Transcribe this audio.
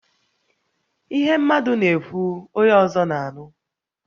Ihe mmadụ na-ekwu, onye ọzọ na-anụ